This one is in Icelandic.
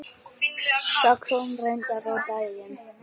Það kom reyndar á daginn.